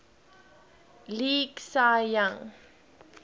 league cy young